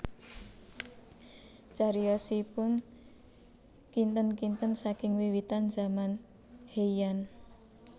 Cariyosipun kinten kinten saking wiwitan zaman Heian